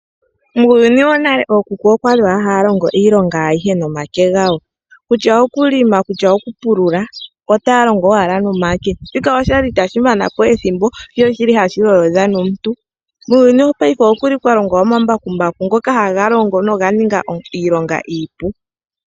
Muuyuni wonale ookuku okwali owala haya longo iilonga ayihe nomake gawo kutya okulima nenge okupulula otaya longo owala nomake, shika oshali itashi manapo ethimbo ihe ohashi lolodha omuntu .Muuyuni wopayife okuli kwalongwa omambakumbaku ngoka haga longo noga ninga iilonga iipu